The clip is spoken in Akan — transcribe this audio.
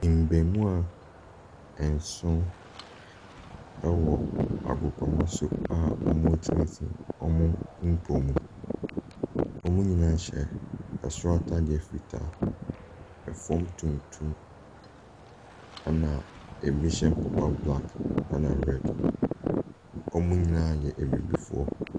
Mmɛɛmoa ɛnson ɛwɔ agopramaso a wɔtenetene wɔn mpomu. Wɔn nyinaa hyɛ ɛsoro ataadeɛ fitaa, ɛfam tuntum ɛna ebi hyɛ mpaboa black ɛna red. Wɔn nyinaa yɛ abibifoɔ.